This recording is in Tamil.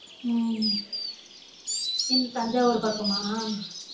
உம் என் தஞ்சாவூர் பக்கம்மா?